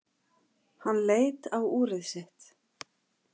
Hann leit á úrið sitt.